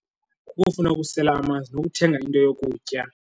Kukufuna ukusela amanzi nokuthenga into yokutya.